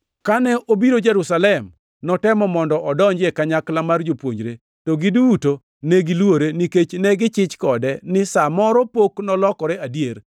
Kane obiro Jerusalem, notemo mondo odonji e kanyakla mar jopuonjre, to giduto ne giluore, nikech ne gichich kode ni sa moro pok nolokore adier.